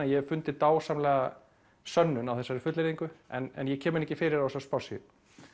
ég hef fundið dásamlega sönnun á þessari fullyrðingu en ég kem henni ekki fyrir á þessari spássíu